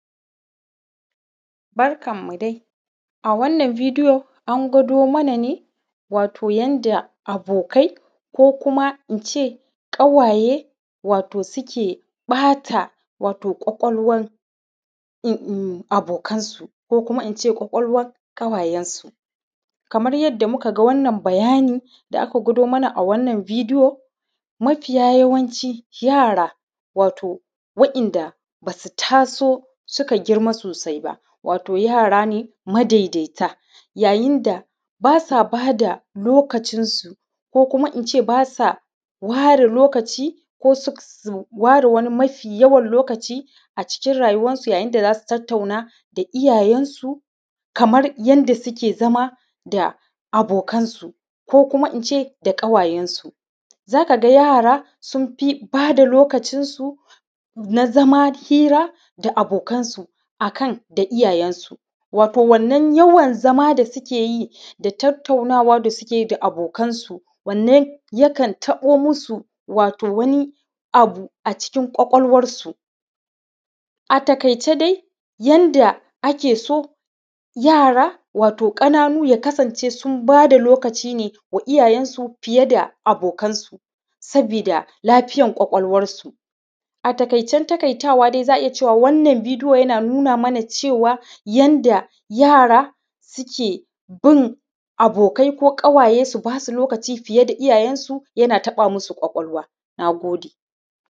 Barkanmu dai. A wannan video an gwado mana ne, wato yanda abokai ko kuma in ce ƙawaye wato suke ɓata wato ƙwaƙwalwan abokansu kokuma in ce ƙwaƙwawar ƙawayensu. Kamar yadda muka ga wannan bayani, da aka gwado mana a wannan video, mafiya yawanci yara, wato waɗanda ba su taso suka girma sosai ba, wato yara ne madaidaita, yayin da ba sa ba da lokacinsu, ko kuma in ce ba sa ware lokaci, ko su ware wani mafi yawan lokaci a cikin rayuwarsu yayin da za su tattauna da iyayensu kamar yadda suke zama da abokansu, ko kuma in ce da ƙawayensu. Za ka ga yara sun fi ba da lokacinsu na zama hira da abokansu a kan da iyayensu, wato wannan yawan zama da suke yi da tattaunawa da suke yi da abokansu wanne yakan taɓo musu wato wani abu a cikin ƙwaƙwalwarsu. A taƙaice dai yanda ake so yara wato ƙananu ya kasance sun ba da lokaci ne wa iyayensu fiye da abokansu, sabida lafiyar ƙwaƙwalwarsu. A taƙaicen taƙaitawa dai za a iya cewa wannan video yana nuna mana cewa, yanda yara suke bin abokai ko ƙawaye su ba su lokaci fiye da iyayensu yana taɓa musu ƙwaƙwalwa. Na gode.